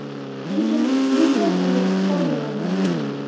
Lekin bundan u foydalana olmadi.